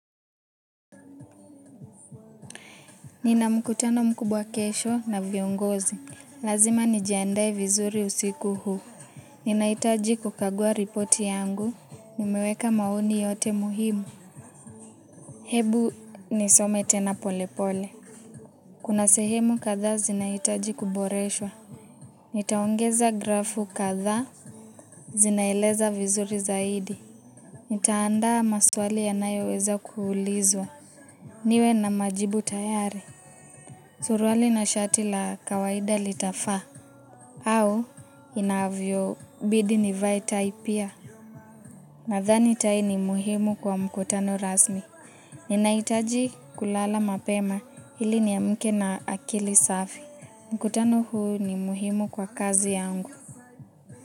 Nina mkutano mkubwa kesho na viongozi. Lazima nijiandaye vizuri usiku huu. Ninaitaji kukagua ripoti yangu. Nimeweka mauni yote muhimu. Hebu nisome tena pole pole. Kuna sehemu kadhaa zinahitaji kuboreshwa. Nitaongeza grafu kadhaa. Zinaeleza vizuri zaidi. Nitaandaa maswali yanayo weza kuulizwa. Niwe na majibu tayari. Suruali na shati la kawaida litafaa. Au inavyo bidi nivae tai pia nadhani tai ni muhimu kwa mkutano rasmi. Ninahitaji kulala mapema ili niamke na akili safi. Mkutano huu ni muhimu kwa kazi yangu.